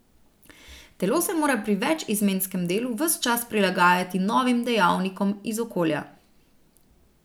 Telo se mora pri večizmenskem delu ves čas prilagajati novim dejavnikom iz okolja.